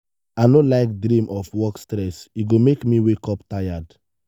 i no like dream of work stress e go make me wake up tired.